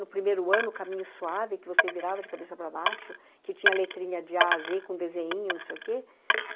No primeiro ano, Caminho Suave, que você virava de cabeça para baixo, que tinha letrinha de a a zê, com desenhinho, não sei o quê.